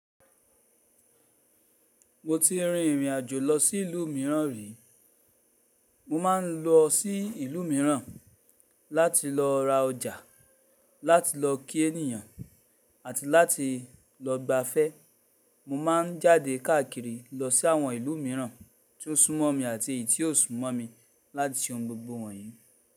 Mo ti rin ìrìn àjò lọ sí ìlú mìíràn rí. Mo ma n lọ sí ìlú mìíràn láti lọ ra ọjà, láti lọ kí ènìyàn àti láti lọ gbafẹ́. Mo ma n jáde káàkiri lọ sí àwọn ìlú mìíràn tí ó súnmọ́ mi àti èyí tí ò súnmọ́ mi láti se ohun gbogbo wọ̀nyí.